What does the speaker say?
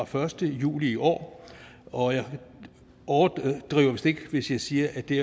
første juli i år og jeg overdriver vist ikke hvis jeg siger at det